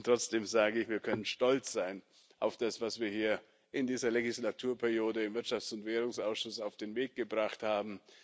Trotzdem sage ich Wir können stolz sein auf das, was wir hier in dieser Wahlperiode im Wirtschafts und Währungsausschuss auf den Weg gebracht haben.